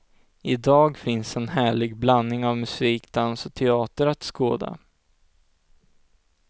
I dag finns en härlig blandning av musik, dans och teater att skåda.